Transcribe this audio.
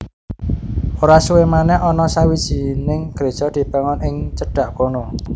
Ora suwé manèh ana sawijining gréja dibangun ing cedhak kono